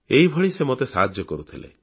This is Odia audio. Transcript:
ଏଭଳି ସେ ମୋତେ ସାହାଯ୍ୟ କରୁଥିଲେ